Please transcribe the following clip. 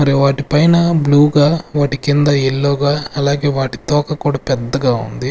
మరి వాటి పైన బ్లూ గా వాటి కింద ఎల్లో గా అలాగే వాటి తోక కూడా పెద్దగా ఉంది.